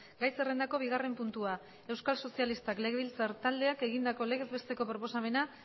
gai zerrendako bigarren puntua euskal sozialistak legebiltzar taldeak egindako legez besteko proposamena